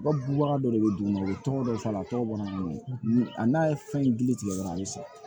Wa bubaga dɔ de bɛ duguma u bɛ tɔrɔ dɔ faga a tɔgɔ bɔra n'o ye a n'a ye fɛn gili tigɛ dɔrɔn a bɛ san